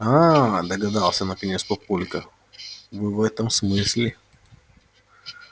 ааа догадался наконец папулька вы в этом смысле